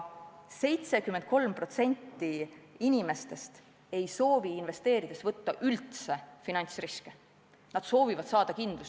73% inimestest ei soovi investeerides üldse finantsriske võtta, nad soovivad kindlust.